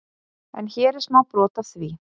En hér er smá brot af því.